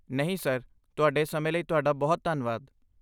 ਨਹੀਂ, ਸਰ। ਤੁਹਾਡੇ ਸਮੇਂ ਲਈ ਤੁਹਾਡਾ ਬਹੁਤ ਧੰਨਵਾਦ!